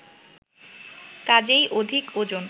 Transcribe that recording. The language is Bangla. কাজেই অধিক ওজন